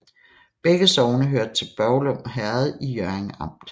Begge sogne hørte til Børglum Herred i Hjørring Amt